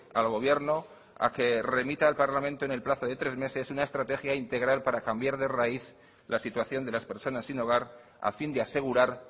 al gobierno a que remita al parlamento en el plazo de tres meses una estrategia integral para cambiar de raíz la situación de las personas sin hogar a fin de asegurar